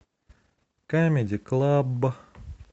камеди клаб